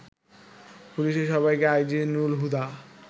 পুলিশের সাবেক আইজি নুরুল হুদা